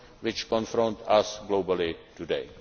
and problems which confront us globally today.